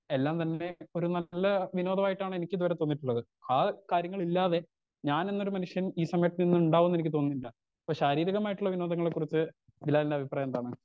എല്ലാം തന്നെ ഇപ്പൊരു നല്ല വിനോദമായിട്ടാണ് എനിക്ക് ഇതുവരെ തോന്നിയിട്ടുള്ളത് ആ കാര്യങ്ങളില്ലാതെ ഞാനെന്നൊരു മനുഷ്യൻ ഈ സമയത്ത് ഇന്ന് ഇണ്ടാവും ന്ന് എനിക്ക് തോന്നുന്നില്ല ഇപ്പൊ ശാരീരികമായിട്ടുള്ള വിനോദങ്ങളെ കുറിച്ച് ബിലാലിൻ്റെ അഭിപ്രായം എന്താണ്?